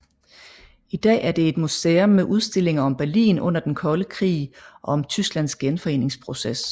I dag er det et museum med udstillinger om Berlin under den kolde krig og om Tysklands genforeningsproces